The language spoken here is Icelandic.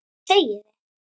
Hvað segið þið?